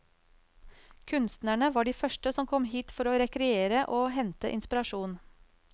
Kunstnerne var de første som kom hit for å rekreere og hente inspirasjon.